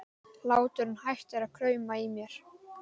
Hláturinn hættir að krauma í mér.